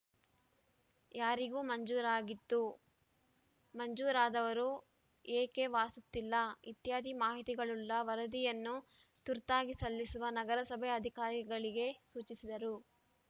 ಯಾರಿಗೆ ಮಂಜೂರಾಗಿತ್ತು ಮಂಜೂರು ಆದಾವರು ಏಕೆ ವಾಸುತ್ತಿಲ್ಲ ಇತ್ಯಾದಿ ಮಾಹಿತಿಗಳುಳ್ಳ ವರದಿಯನ್ನು ತುರ್ತಾಗಿ ಸಲ್ಲಿಸಲು ನಗರಸಭೆ ಅಧಿಕಾರಿಗಳಿಗೆ ಸೂಚಿಸಿದರು